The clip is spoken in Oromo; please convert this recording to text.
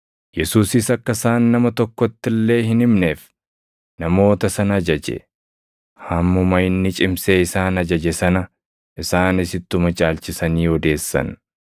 Yesuusis akka isaan nama tokkotti illee hin himneef namoota sana ajaje. Hammuma inni cimsee isaan ajaje sana, isaanis ittuma caalchisanii odeessan.